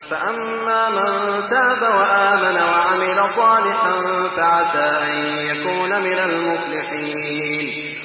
فَأَمَّا مَن تَابَ وَآمَنَ وَعَمِلَ صَالِحًا فَعَسَىٰ أَن يَكُونَ مِنَ الْمُفْلِحِينَ